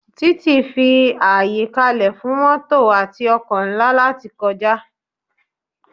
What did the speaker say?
Títì fi àyè kalẹ fún mótò àti ọkọ̀ ńlá láti kọjá